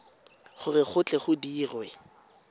gore go tle go dirwe